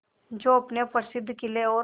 जो अपने प्रसिद्ध किले और